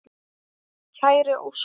Kæri Óskar.